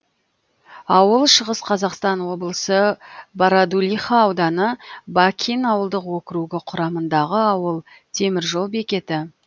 ауыл шығыс қазақстан облысы бородулиха ауданы бакин ауылдық округі құрамындағы ауыл темір жол бекеті